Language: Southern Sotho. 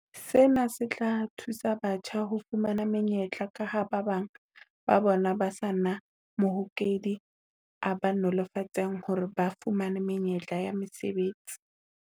Sena se tla thusa batjha ho fumana menyetla kaha ba bang ba bona ba se na mahokedi a ba nolofaletsang hore ba fumane menyetla ya mesebetsi.